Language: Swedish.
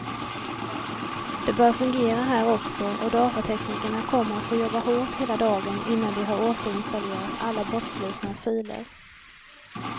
Det bör fungera här också, och datateknikerna kommer att få jobba hårt hela dagen innan de har återinstallerat alla bortslitna filer.